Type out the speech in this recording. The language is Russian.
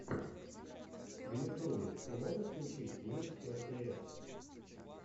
в ютьюбе ты можешь включить мисс элпиэс